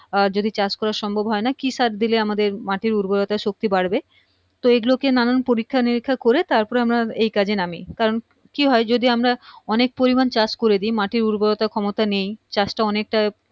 আর যদি চাষ করার সম্ভব হয়না কি সার দিলে আমাদের মাটির উর্বরতা শক্তি বাড়বে তো এইগুলো কে নানান পরীক্ষা নিরীক্ষা করে তারপরে আমরা এই কাজে নামি কারণ কি হয় যদি আমরা অনেক পরিমান চাষ করে দি মাটির উর্বরতা ক্ষমতা নেই চাষ টা অনেক টা